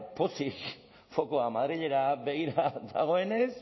pozik fokoa madrilera begira dagoenez